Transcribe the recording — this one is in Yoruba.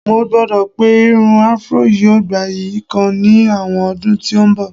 mo gbagbọ pe Irun afro yíò gbaye kan ni àwọn ọdún tí n bọ